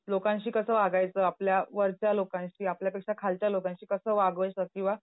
लोकांशी कसं वागायचं? आपल्या वरच्या लोकांशी, आपल्या पेक्षा खालच्या लोकांशी कसं वागायचं किंवा